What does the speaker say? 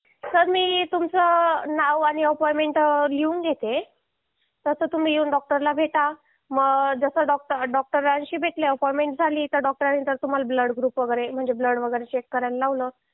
sir मी तुमचं नाव आणि अपॉइंटमेंट लिहून घेते तसं तुम्ही डॉक्टर ला येऊन भेटा मग जस डॉक्टरांशी भेटल्यावर अपॉइंटमेंट झाली तर डॉक्टरांनी तुम्हाला ब्लड वगैरे चेक करायला लावला